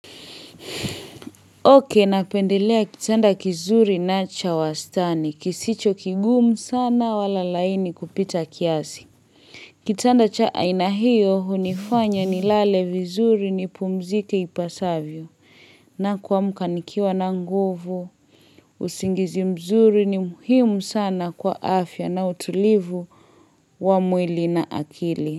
Okay, napendelea kitanda kizuri na cha wastani. Kisicho kigumu sana wala laini kupita kiasi. Kitanda cha aina hiyo, hunifanya nilale vizuri nipumzike ipasavyo. Na kuamka nikiwa na nguvu, usingizi mzuri ni muhimu sana kwa afya na utulivu wa mwili na akili.